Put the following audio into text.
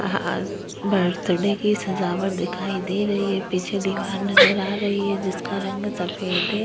Birthday की सजावट दिखाई दे रही है। पीछे दीवार नजर आ रही है जिसका रंग सफेद है।